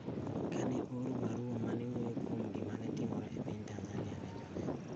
ka ne ooro barua ma ne wuoyo kuom gima ne timore e piny Tanzania ne Joneno